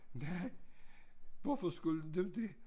Nej hvorfor skulle du det